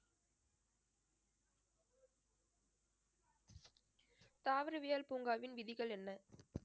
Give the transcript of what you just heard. தாவரவியல் பூங்காவின் விதிகள் என்ன